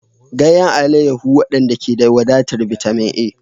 Ganyen alayyahu, waɗanda ke da wadatar bitamin A.